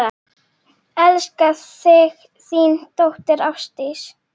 Elska þig, þín dóttir, Ásdís.